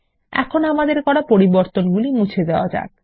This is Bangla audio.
এখন আমাদের করা পরিবর্তন মুছে দেওয়া যাক